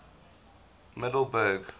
middelburg